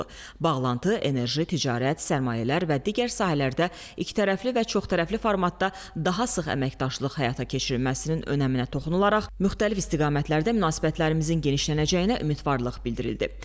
Bağlantı, enerji, ticarət, sərmayələr və digər sahələrdə ikitərəfli və çoxtərəfli formatda daha sıx əməkdaşlıq həyata keçirilməsinin önəminə toxunularaq, müxtəlif istiqamətlərdə münasibətlərimizin genişlənəcəyinə ümidvarlıq bildirildi.